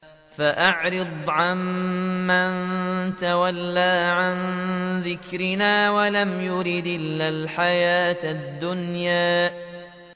فَأَعْرِضْ عَن مَّن تَوَلَّىٰ عَن ذِكْرِنَا وَلَمْ يُرِدْ إِلَّا الْحَيَاةَ الدُّنْيَا